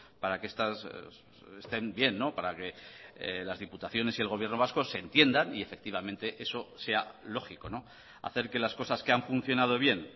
para que estén bien para que las diputaciones y el gobierno vasco se entiendan y efectivamente eso sea lógico hacer que las cosas que han funcionado bien